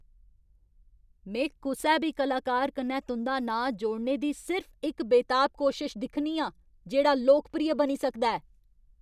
में कुसै बी कलाकार कन्नै तुं'दा नांऽ जोड़ने दी सिर्फ इक बेताब कोशश दिक्खनी आं जेह्ड़ा लोकप्रिय बनी सकदा ऐ।